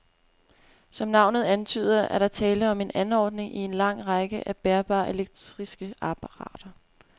Som navnet antyder, er der tale om en anordning i en lang række af bærbare elektriske apparater.